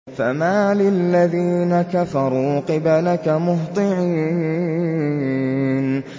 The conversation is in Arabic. فَمَالِ الَّذِينَ كَفَرُوا قِبَلَكَ مُهْطِعِينَ